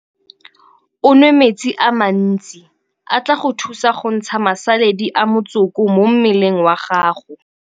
O nwe metsi a mantsi a tla go thusa go ntsha masaledi a motsoko mo mmeleng wa gago.